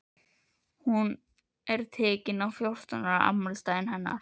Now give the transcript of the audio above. Hún er tekin á fjórtán ára afmælisdaginn hennar.